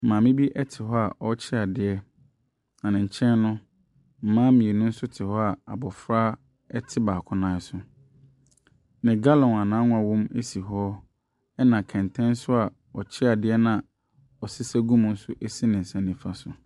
Maame bi te hɔ a ɔrekye adeɛ. Na ne nkyɛn no, mmaa mmienu nso te hɔ a abofra ɛte baako nan so. Ne gallon a n'annwa wɔ mu nso si hɔ. Na kɛntɛn a ɔkye adeɛ no a ɔɔsesa gum nso si ne nsa nifa so.